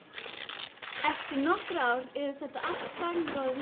Eftir nokkur ár yrði þetta allt samgróið landinu.